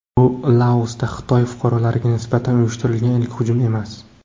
Bu Laosda Xitoy fuqarolariga nisbatan uyushtirilgan ilk hujum emas.